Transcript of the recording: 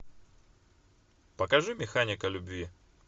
покажи механика любви